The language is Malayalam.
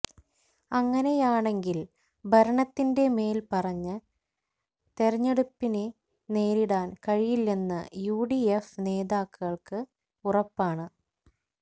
അങ്ങനെയാണെങ്കിൽ ഭരണത്തിന്റെ മേൽ പറഞ്ഞ് തെരഞ്ഞെടുപ്പിനെ നേരിടാൻ കഴിയില്ലെന്ന് യുഡിഎഫ് നേതാക്കൾക്ക് ഉറപ്പാണ്